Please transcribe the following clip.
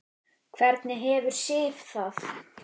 Hvernig hefur Sif það?